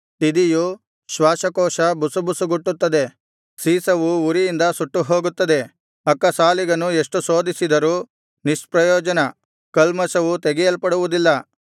ತಿದಿಯು ಶ್ವಾಸಕೋಶ ಬುಸುಬುಸುಗುಟ್ಟುತ್ತದೆ ಸೀಸವು ಉರಿಯಿಂದ ಸುಟ್ಟುಹೋಗುತ್ತದೆ ಅಕ್ಕಸಾಲಿಗನು ಎಷ್ಟು ಶೋಧಿಸಿದರೂ ನಿಷ್ಪ್ರಯೋಜನ ಕಲ್ಮಷವು ತೆಗೆಯಲ್ಪಡುವುದಿಲ್ಲ